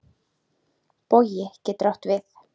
Bogi getur átt við